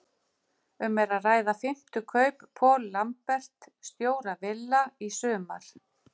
Um er að ræða fimmtu kaup Paul Lambert, stjóra Villa, í sumar.